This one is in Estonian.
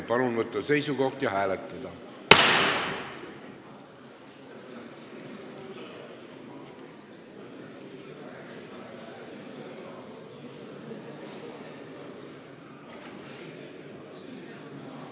Palun võtta seisukoht ja hääletada!